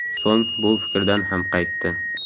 So‘ng bu fikridan ham qaytdi.